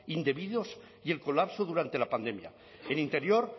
indebidos y el colapso durante la pandemia en interior